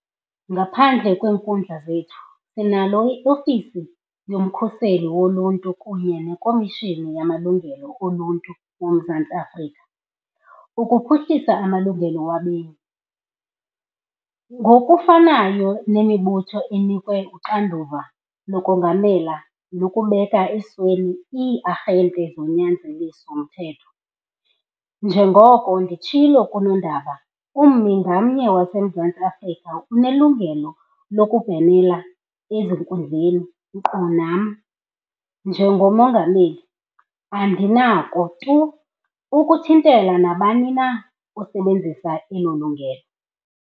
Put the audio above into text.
Ngaphandle kweenkundla zethu, sinalo i-Ofisi yoMkhuseli WoLuntu kunye neKomishini yamaLungelo oLuntu yoMzantsi Afrika ukuphuhlisa amalungelo wabemi, ngokufanayo nemibutho enikwe uxanduva lokongamela nokubeka esweni ii-arhente zonyanzeliso mthetho. Njengoko nditshilo kunondaba, ummi ngamnye waseMzantsi Afrika unelungelo lokubhenela ezinkundleni nkqu nam, njengoMongameli, andinako tu ukuthintela nabani na osebenzisa elo lungelo.